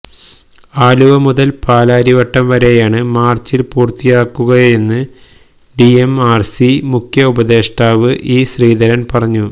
ആലുവ മുതല് പാലാരിവട്ടം വരെയാണ് മാര്ച്ചില് പൂര്ത്തിയാകുകയെന്ന് ഡി എം ആര് സി മുഖ്യഉപദേഷ്ടാവ് ഇ ശ്രീധരന് പറഞ്ഞു